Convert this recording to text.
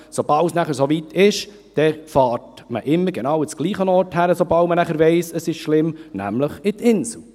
Sobald es soweit ist, sobald man weiss, es ist schlimm, fährt man immer genau an denselben Ort, nämlich in die Insel.